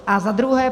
A za druhé.